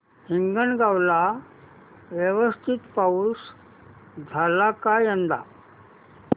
हिंगणगाव ला व्यवस्थित पाऊस झाला का यंदा